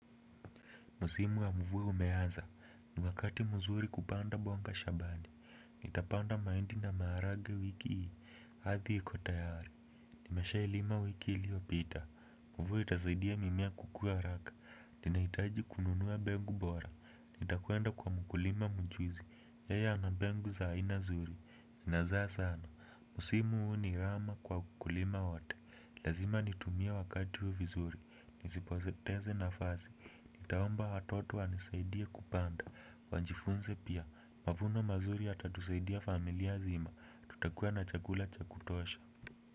Msimu wa mvua umeanza. Ni wakati mzuri kupanda mboga shambani. Nitapanda mahindi na maharage wiki hii. Ardhi iko tayari. Nimeshailima wiki iliyopita. Mvua itasaidia mimea kukua haraka. Ninahitaji kununua mbegu bora. Nitakwenda kwa mkulima mjuzi. Yeye ana mbegu za aina nzuri. Zinazaa sana. Msimu huu ni rahama kwa wakulima wote. Lazima nitumie wakati huu vizuri. Nisipoteze nafasi. Nitaomba watoto wanisaidie kupanda. Wajifunze pia. Mavuno mazuri yatatusaidia familia nzima. Tutakuwa na chakula cha kutosha.